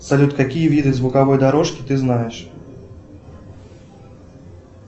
салют какие виды звуковой дорожки ты знаешь